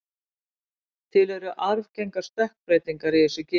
Til eru arfgengar stökkbreytingar í þessu geni.